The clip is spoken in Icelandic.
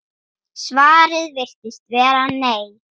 Svarið virðist vera nei.